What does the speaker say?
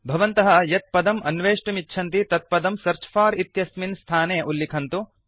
भवन्तः यत् पदम् अन्वेष्टुमिच्छन्ति तत् पदं सेऽर्च फोर इति स्थाने उल्लिखन्तु